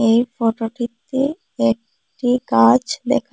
এই ফটোটিতে একটি গাছ দেখা--